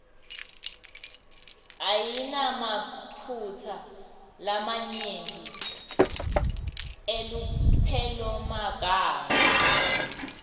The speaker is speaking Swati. ayinamaphutsa lamanyenti elupelomagama